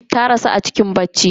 Ta rasu a cikin bacci.